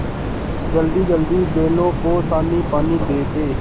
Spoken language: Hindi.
जल्दीजल्दी बैलों को सानीपानी दे दें